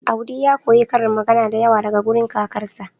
Audi ya koyi karin magana da yawa daga wurin kakarsa